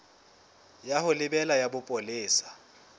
ya ho lebela ya bopolesa